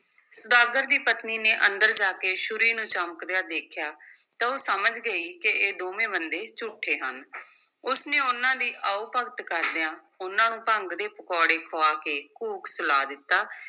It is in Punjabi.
ਸੁਦਾਗਰ ਦੀ ਪਤਨੀ ਨੇ ਅੰਦਰ ਜਾ ਕੇ ਛੁਰੀ ਨੂੰ ਚਮਕਦਿਆਂ ਦੇਖਿਆ, ਤਾਂ ਉਹ ਸਮਝ ਗਈ ਕਿ ਦੋਵੇਂ ਬੰਦੇ ਝੂਠੇ ਹਨ ਉਸ ਨੇ ਉਨ੍ਹਾਂ ਦੀ ਆਉ-ਭਗਤ ਕਰਦਿਆਂ ਉਨ੍ਹਾਂ ਨੂੰ ਭੰਗ ਦੇ ਪਕੌੜੇ ਖੁਆ ਕੇ ਘੂਕ ਸੁਲਾ ਦਿੱਤਾ,